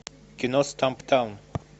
кино стамптаун